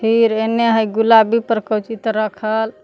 तीर एने है गुलाबी पर कोची तौ रखल।